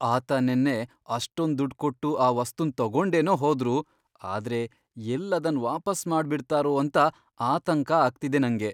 ಆತ ನೆನ್ನೆ ಅಷ್ಟೊಂದ್ ದುಡ್ಡ್ ಕೊಟ್ಟು ಆ ವಸ್ತುನ್ ತಗೊಂಡೇನೋ ಹೋದ್ರು ಆದ್ರೆ ಎಲ್ಲ್ ಅದನ್ ವಾಪಸ್ ಮಾಡ್ಬಿಡ್ತಾರೋ ಅಂತ ಆತಂಕ ಆಗ್ತಿದೆ ನಂಗೆ.